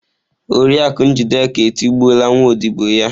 Oriakụ Njideka etigbuola nwa ọdibo ya.